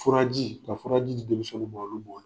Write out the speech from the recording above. Furaji, ka furaji di denmisɛnniw ma olu b'o